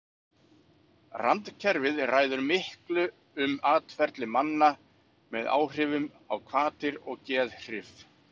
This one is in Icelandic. Randkerfið ræður miklu um atferli manna með áhrifum á hvatir og geðhrif.